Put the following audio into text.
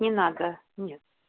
не нет